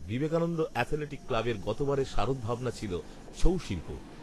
Vivekananda athletic ক্লাবের গত বারের শারদভাবনা ছিল ছৌ শিল্প